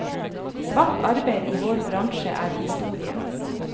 Svart arbeid i vår bransje er historie.